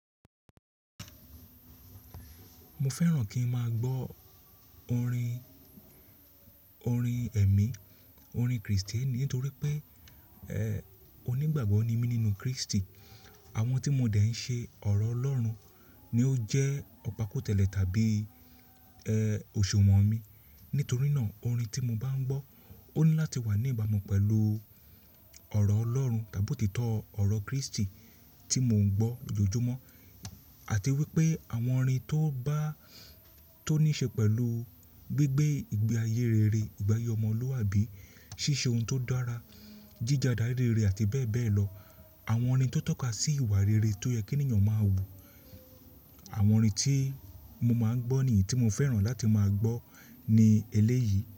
Mo fẹ́ràn kí n máa gbọ́ orin, orin ẹ̀mí, orin Kristẹni nítorí pé, ẹ́, onígbàgbọ́ ni mí nínú Kristi. Àwọn tí mo dẹ̀ ń ṣe ọ̀rọ̀ Ọlọ́run ni ó jẹ́ ọ̀pakòtẹ́lẹ̀ tàbí ẹ́, òṣùwọ̀n mi. Nítorí náà orin tí mo bá ń gbọ́ ó ní láti wà ní ìbámu pẹ̀lú ọ̀rọ̀ Ọlọ́run tàbí òtítọ́ ọ̀rọ̀ Kristi tí mò ń gbọ́ lójoojúmọ́. Àti wípé àwọn orin tó bá, tó ní ṣe pẹ̀lú gbígbé ìgbé ayé rere, ìgbé ayé ọmọlúwàbí, ṣíṣe ohun tó dára, jíja adarí rere àti bẹ́ẹ̀ bẹ́ẹ̀ lọ. Àwọn orin tó tọ́ka sí ìwà rere tó yẹ kí ènìyàn máa wù. Àwọn orin tí mo máa ń gbọ́ nìyí tí mo fẹ́ràn láti máa gbọ́ ní eléyìí.